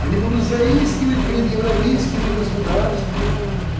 они будут заискивать перед европейскими государствами